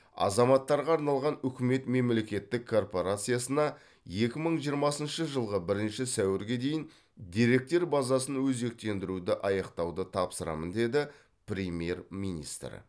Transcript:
азаматтарға арналған үкімет мемлекеттік корпорациясына екі мың жиырмасыншы жылғы бірінші сәуірге дейін деректер базасын өзектендіруді аяқтауды тапсырамын деді премьер министр